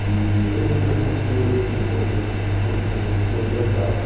E eu lembro de algumas coisas, por exemplo, uma coisa que não existia é o blackout.